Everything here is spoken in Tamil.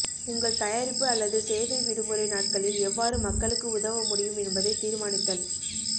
உங்கள் தயாரிப்பு அல்லது சேவை விடுமுறை நாட்களில் எவ்வாறு மக்களுக்கு உதவ முடியும் என்பதைத் தீர்மானித்தல்